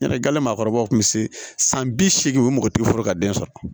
Yala gale maakɔrɔbaw tun bɛ se san bi seegin o mɔgɔ tɛ foro ka den sɔrɔ